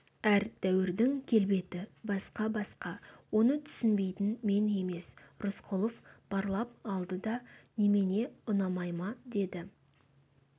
әр дәуірдің келбеті басқа-басқа оны түсінбейтін мен емес рысқұлов барлап алды да немене ұнамай ма деді